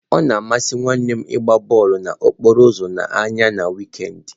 Ọ na amasị nwa nwanne m ịgba bọọlụ n'okporo ụzọ n'anya na wịkend.